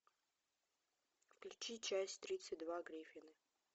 включи часть тридцать два гриффины